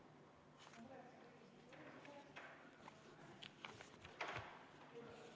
Head kolleegid, kohaloleku kontroll, palun!